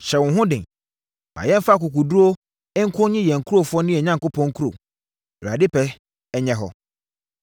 Hyɛ wo ho den. Ma yɛmfa akokoɔduru nko nnye yɛn nkurɔfoɔ ne yɛn Onyankopɔn nkuro. Awurade pɛ nyɛ hɔ.”